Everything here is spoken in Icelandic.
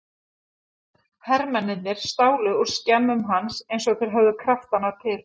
Hermennirnir stálu úr skemmum hans eins og þeir höfðu kraftana til.